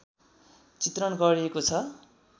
चित्रण गरिएको छ